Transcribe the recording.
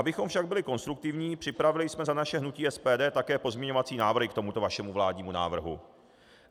Abychom však byli konstruktivní, připravili jsme za naše hnutí SPD také pozměňovací návrhy k tomuto vašemu vládnímu návrhu.